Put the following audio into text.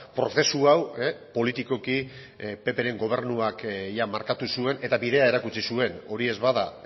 prozesu hau politikoki ppren gobernuak jada markatu zuen eta bidea erakutsi zuen hori ez bada